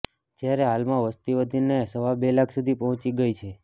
જ્યારે હાલમાં વસતી વધીને સવા બે લાખ સુધી પહોંચી ગઈ છે